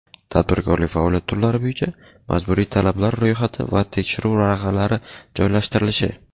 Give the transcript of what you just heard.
tadbirkorlik faoliyat turlari bo‘yicha majburiy talablar ro‘yxati va tekshiruv varaqalari joylashtirilishi;.